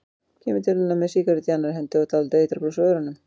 Kemur til hennar með sígarettu í annarri hendi og dálítið eitrað bros á vörunum.